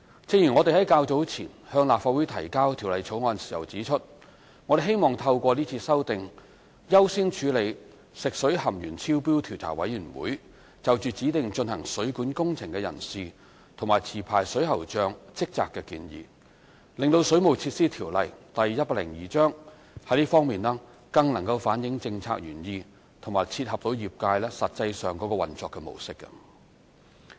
正如我們較早前向立法會提交《條例草案》時指出，我們希望透過這次修訂，優先處理食水含鉛超標調查委員會就指定進行水管工程的人士及持牌水喉匠職責的建議，令《水務設施條例》在這方面，更能反映政策原意和切合業界實際上的運作模式。